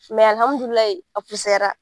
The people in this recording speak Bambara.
alihamudulayi a fusayara